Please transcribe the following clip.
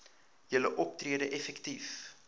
julle optrede effektief